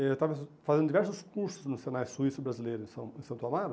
Eu estava fazendo diversos cursos no Senai Suíço Brasileiro em San em Santo Amaro,